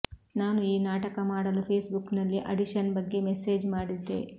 ನಾನು ಈ ನಾಟಕ ಮಾಡಲು ಫೇಸ್ಬುಕ್ನಲ್ಲಿ ಆಡಿಷನ್ ಬಗ್ಗೆ ಮೆಸೇಜ್ ಮಾಡಿದ್ದೆ